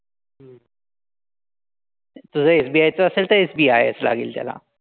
तुझं SBI चं असेल तर SBI च लागेल त्याला.